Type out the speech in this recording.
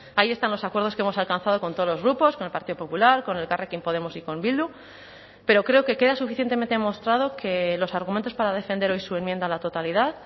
ahí están los acuerdos que hemos alcanzado con todos los grupos con el partido popular con elkarrekin podemos y con bildu pero creo que queda suficientemente demostrado que los argumentos para defender hoy su enmienda a la totalidad